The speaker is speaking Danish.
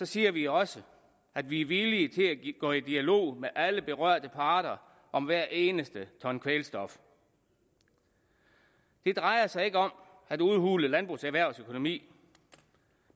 siger vi også at vi er villige til at gå i dialog med alle berørte parter om hver eneste ton kvælstof det drejer sig ikke om at udhule landbrugserhvervets økonomi